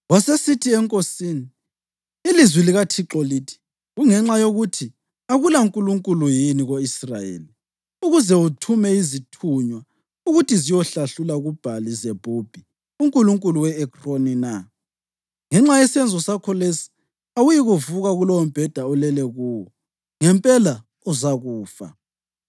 Wasesithi enkosini, “Ilizwi likaThixo lithi: Kungenxa yokuthi akulaNkulunkulu yini ko-Israyeli ukuze uthume izithunywa ukuthi ziyohlahlula kuBhali-Zebhubhi, unkulunkulu we-Ekroni na? Ngenxa yesenzo sakho lesi, awuyikuvuka kulowombheda olele kuwo. Ngempela uzakufa!”